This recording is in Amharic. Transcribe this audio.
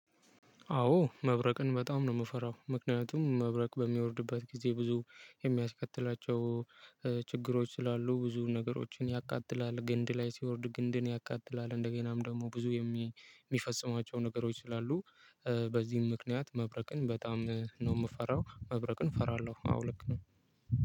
አዎ መብረቅን በጣም ነው የምፈራው ምክንያቱም መብረቅ በሚወርድበት ጊዜ ብዙ የሚያስከትላቸው ችግሮች ስላሉ ብዙ ነገሮችን ያቃጥላል፤ ግንድ ላይ ሲወርድ ግንድን ያቃጥላል፤ እንደገናም ደግሞ ብዙ የሚፈጽማቸው ነገሮች ስላሉ በዚህም ምክንያት መብረቅን በጣም ነው የምፈራው መብረቅን እፈራለሁ። አዎ ልክ ነው